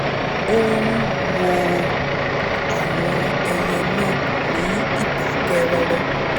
ó ń wo àwọn ẹyẹ náà ní ìdákẹ́rọ́rọ̀